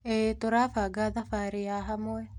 ĩĩ, tũrabanga thabarĩ ya hamwe.